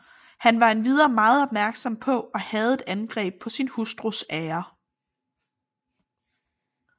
Han var endvidere meget opmærksom på og hadede angreb på sin hustrus ære